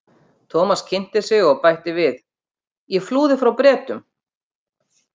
Thomas kynnti sig og bætti við: Ég flúði frá Bretum